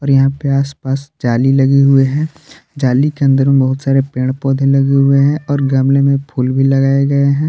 यहां पे आस पास जाली लगी हुई है जाली के अंदर बहुत सारे पेड़ पौधे लगे हुए हैं और गमले में फूल भी लगाए गए हैं।